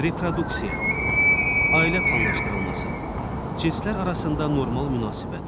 Reproduksiya, ailə planlaşdırılması, cinslər arasında normal münasibət.